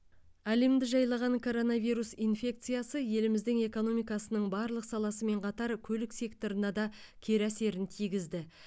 әлемді жайлаған коронавирус инфекциясы еліміздің экономикасының барлық саласымен қатар көлік секторына да кері әсерін тигізді